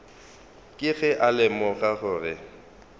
ke ge a lemoga gore